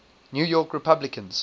new york republicans